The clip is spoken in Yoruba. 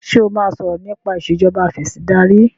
ṣe o má sọrọ nipa Ìṣèjọba Afẹ̀sìndarí?